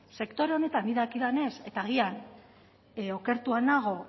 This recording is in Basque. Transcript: sektore honetan nik dakidanez eta agian okertua nago